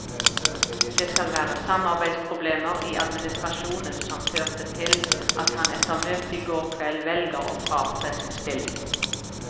Det skal være samarbeidsproblemer i administrasjonen som førte til at han etter møtet i går kveld velger å fratre sin stilling.